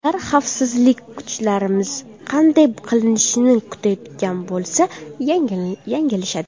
Ular xavfsizlik kuchlarimiz bunday qilishini kutayotgan bo‘lsa, yanglishadi.